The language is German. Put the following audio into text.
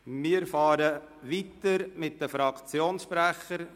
Wir fahren weiter mit den Fraktionssprechern.